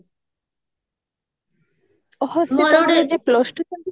ହଁ ସେଟ ଗୋଟେ plus two